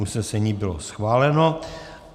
Usnesení bylo schváleno.